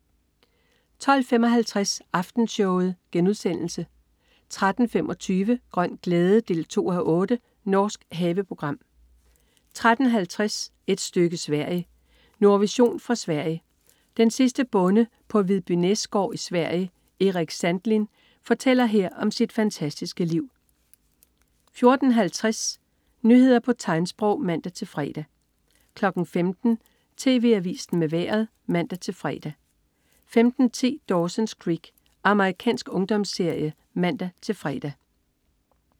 12.55 Aftenshowet* 13.25 Grøn glæde 2:8. Norsk haveprogram 13.50 Et stykke Sverige. Nordvision fra Sverige. Den sidste bonde på Vidbynäs gård i Sverige, Eric Sandlin, fortæller her om sit fantastiske liv 14.50 Nyheder på tegnsprog (man-fre) 15.00 TV Avisen med Vejret (man-fre) 15.10 Dawson's Creek. Amerikansk ungdomsserie (man-fre)